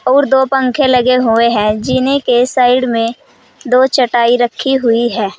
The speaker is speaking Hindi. और दो पंखे लगे हुए हैं जीने के साइड में दो चटाई रखी हुई है।